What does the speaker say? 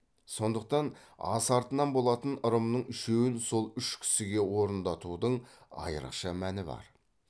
сондықтан ас артынан болатын ырымның үшеуін сол үш кісіге орындатудың айрықша мәні бар